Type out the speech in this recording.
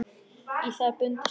Í það er bundið snæri.